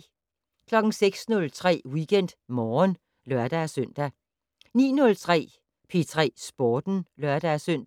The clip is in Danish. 06:03: WeekendMorgen (lør-søn) 09:03: P3 Sporten (lør-søn)